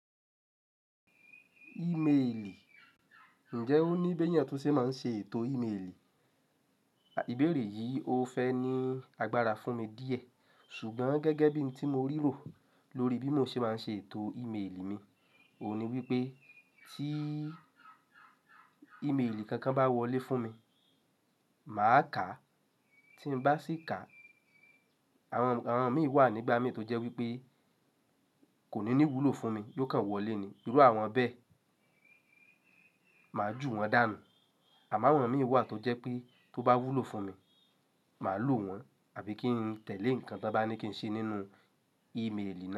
Ìméèlì, ǹjẹ́ ó ní bí ènìyàn túnṣe máa ń ṣe ètò ìmélì? Ìbéèrè yìí ò fẹ́ ní agbára fún mi díẹ̀ ṣùgbọ́n gẹ́gẹ́ bí n tí mo ríro lórí bí mo ṣe máa ń ṣe ètò ìmélì mi, òun ni wípé tí ìmélì kankan bá wọlé fún mi, màá kàá, tí ń bá sì kà, àwọn mìíràn wà nígbà mí tó jẹ́ wípé kò ní ní wúlò fún mi, yóò kàn wọlé ni, irú àwọn bẹ́ẹ̀ máa ju wọn dànù, àmọ́ àwọn mìí wà tó jẹ́ pé tó bá wúlò fún mi, màá lò wọ́n àbí kí ń tẹ̀lé nǹkan tó bá ní kí ń ṣe nínú ìmélì náà.